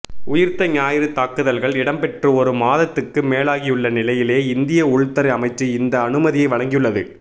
உயிர்த்த ஞாயிறு தாக்குதல்கள் இடம்பெற்று ஒரு மாதத்துக்கு மேலாகியுள்ள நிலையிலேயே இந்திய உள்துறை அமைச்சு இந்த அனுமதியை வழங்கியுள்ளது